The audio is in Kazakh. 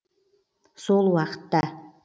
сол уақытта